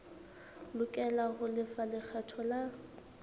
lokela ho lefa lekgetho la